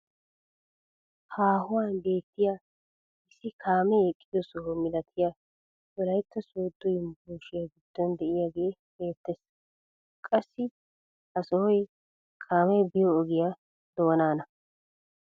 Haahuwaan beettiyaa issi kaamee eqqiyo soho milatiyaa wolaytta sooddo yunburushiyaa giddon de'iyaagee beettees. qassi ha sohoy kaamee biyoo ogiyaa doonana